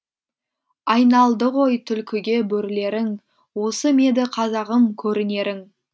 айналдығой тулкіге бөрілерің осы меді қазағым көрінерің